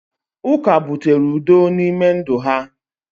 uka butere udo n’ime ndụ ha